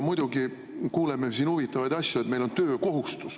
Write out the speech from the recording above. Muidugi kuuleme siin huvitavaid asju, ka seda, et meil on töökohustus.